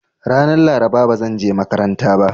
Ranan Laraba ba zanje makaranta ba.